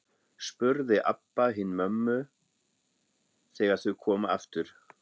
spurði Abba hin mömmu þegar þau komu aftur.